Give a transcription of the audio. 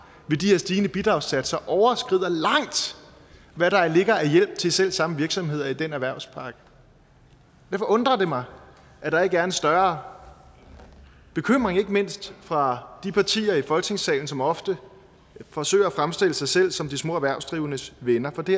stigende bidragssatser overskrider langt hvad der ligger af hjælp til selv samme virksomheder i den erhvervspakke derfor undrer det mig at der ikke er en større bekymring ikke mindst fra de partier i folketingssalen som ofte forsøger at fremstille sig selv som de små erhvervsdrivendes venner for det